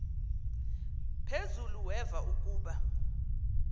phezulu weva ukuba